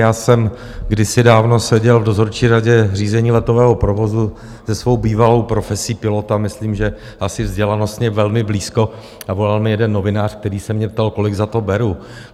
Já jsem kdysi dávno seděl v dozorčí radě řízení letového provozu, se svou bývalou profesí pilota myslím, že asi vzdělanostně velmi blízko, a volal mi jeden novinář, který se mě ptal, kolik za to beru.